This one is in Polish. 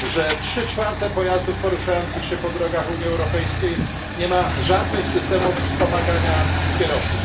że trzy czwarte pojazdów poruszających się po drogach Unii Europejskiej nie ma żadnych systemów wspomagania kierowców.